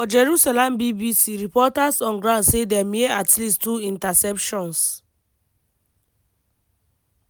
for jerusalem bbc reporters on ground say dem hear at least two interceptions.